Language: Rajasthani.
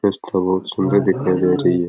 बहुत सुन्दर दिखाई दे रही है।